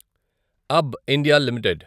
అబ్బ్ India limited